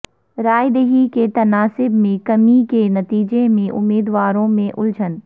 رائے دہی کے تناسب میں کمی کے نتیجہ میں امیدواروں میں الجھن